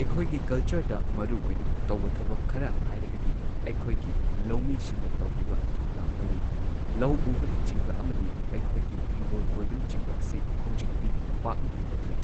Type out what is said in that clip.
ꯑꯩꯈꯣꯏꯒꯤ ꯀꯜꯆꯔꯗ ꯃꯔꯨꯑꯣꯏꯅ ꯇꯧꯕ ꯊꯕꯛ ꯈꯔ ꯍꯥꯏꯔꯒꯗꯤ ꯑꯩꯈꯣꯏꯒꯤ ꯂꯧꯃꯤꯁꯤꯡꯅ ꯇꯧꯔꯤꯕ ꯊꯧꯗꯥꯡ ꯂꯧꯏ꯫ ꯂꯧ ꯎꯕꯅꯆꯤꯡꯕ ꯑꯃꯗꯤ ꯑꯩꯈꯣꯏꯒꯤ ꯍꯤꯡꯒꯣꯜ ꯀꯣꯏꯕꯅꯆꯤꯡꯕ ꯑꯁꯤ ꯍꯧꯖꯤꯛꯇꯤ ꯄꯥꯛꯅ ꯇꯧꯅꯗ꯭ꯔꯦ꯫